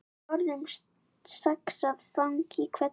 Forðum saxað fang í hvelli.